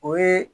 O ye